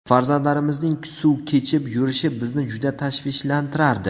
Farzandlarimizning suv kechib yurishi bizni juda tashvishlantirardi.